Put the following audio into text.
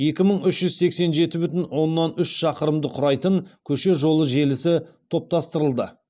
екі мың үш жүз сексен жеті бүтін оннан үш шақырымды құрайтын көше жолы желісі топтастырылды